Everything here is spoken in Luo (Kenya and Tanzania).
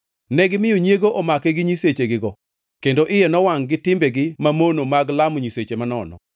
Negimiyo nyiego omake gi nyisechegigo, kendo iye nowangʼ-gi timbegi mamono mag lamo nyiseche manono.